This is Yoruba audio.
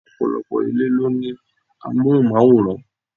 Ọ̀pọ̀lọpọ̀ ilé ló ní amohunmaworan.